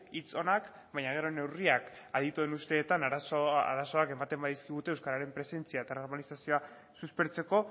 hitz onak baina gero neurriak adituen usteetan arazoak ematen badizkigute euskararen presentzia eta normalizazioa suspertzeko